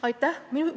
Aitäh!